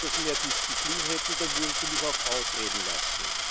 Wenn Sie etwas mehr Disziplin hätten, dann würden Sie mich auch ausreden lassen.